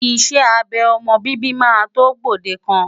Iṣẹ́ abẹ ọmọ bíbí máa tó gbòdekan.